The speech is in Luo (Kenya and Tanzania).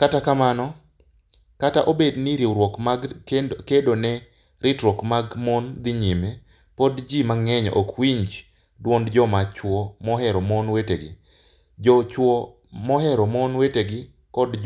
Kata kamano, kata obedo ni riwruoge mag kedo ne ratiro mag mon dhi nyime, pod ji mang'eny ok winj dwond joma chwo mohero mon wetegi, joma chwo mohero mon wetegi, koda